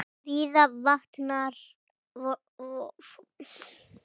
Víða vantar fólk til starfa.